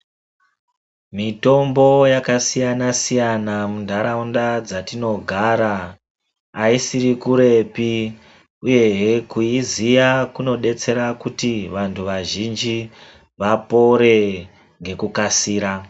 Mitombo yakasiyana siyana muntaraunda dzatinogara, ayisiri kurepi uyehee kuyiziva kunodetsera kuti vanhu vazhinji vapore nekukasira.